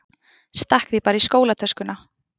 Stakk því bara í skólatöskuna.